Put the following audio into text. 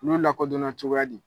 Olu lakodɔnna cogoya di?